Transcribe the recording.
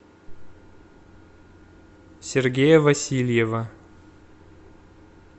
сергея васильева